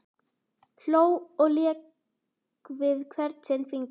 Hló og lék við hvern sinn fingur.